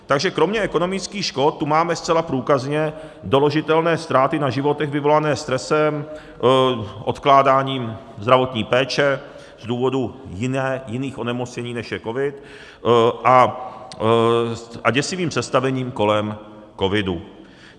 Takže kromě ekonomických škod tu máme zcela průkazně doložitelné ztráty na životech vyvolané stresem, odkládáním zdravotní péče z důvodu jiných onemocnění, než je covid, a děsivým představením kolem covidu.